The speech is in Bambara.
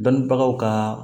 Bangebagaw ka